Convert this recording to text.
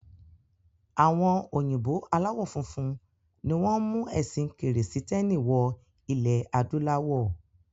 Àwọn Òyìnbó aláwọ funfun ni wọ́n mú ẹ̀sìn kírísítẹ́nì wọ ilẹ̀ adúláwọ̀.